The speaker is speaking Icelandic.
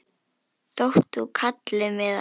þótt þú kallir mig það.